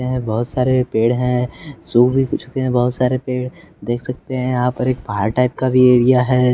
बहुत सारे पेड़ हैं सो भी चुके हैं बहुत सारे पेड़ देख सकते हैं यहां पर एक पार टाइप का भी एरिया है।